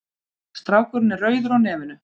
Strákurinn er rauður á nefinu.